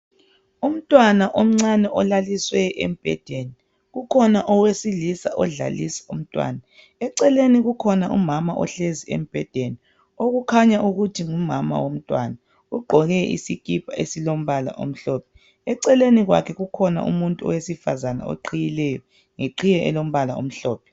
Umntwana omncane olaliswe embhedeni kukhona owesilisa odlalisa umntwana, eceleni kukhona umama ohlezi embhedeni okukhanya ukuthi ngumama womntwana ugqoke isikipa esilombala omhlophe. Eceleni kwakhe kukhona umuntu wesifazana oqhiyileyo ngeqhiye elombala omhlophe.